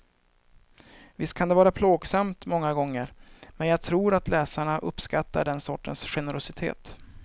Visst kan det vara plågsamt många gånger men jag tror att läsarna uppskattar den sortens generositet.